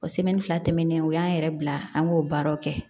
O fila tɛmɛnen o y'an yɛrɛ bila an k'o baaraw kɛ